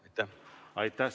Aitäh!